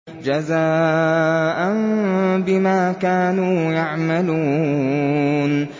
جَزَاءً بِمَا كَانُوا يَعْمَلُونَ